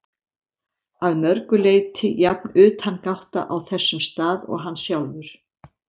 Að mörgu leyti jafn utangátta á þessum stað og hann sjálfur.